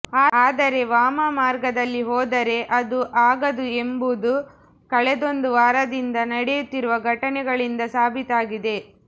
ಆದರೆ ವಾಮ ಮಾರ್ಗದಲ್ಲಿ ಹೋದರೆ ಅದು ಆಗದು ಎಂಬುದು ಕಳೆದೊಂದು ವಾರದಿಂದ ನಡೆಯುತ್ತಿರುವ ಘಟನೆಗಳಿಂದ ಸಾಬೀತಾಗಿದೆ